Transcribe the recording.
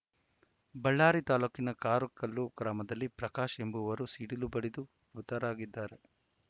ಬಳ್ಳಾರಿ ತಾಲೂಕಿನ ಕಾರುಕಲ್ಲು ಗ್ರಾಮದಲ್ಲಿ ಪ್ರಕಾಶ ಎಂಬುವರು ಸಿಡಿಲು ಬಡಿದು ಮೃತರಾಗಿದ್ದಾರೆ